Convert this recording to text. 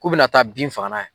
K'u bɛna na taa bin fanga na ye.